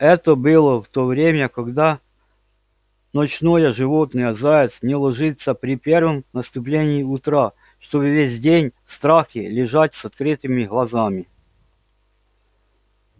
это было в то время года когда ночное животное заяц не ложится при первом наступлении утра чтобы весь день в страхе лежать с открытыми глазами